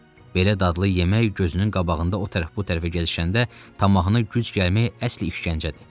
Belə dadlı yemək gözünün qabağında o tərəf-bu tərəfə gəzişəndə tamahına güc gəlmək əsl işgəncədir.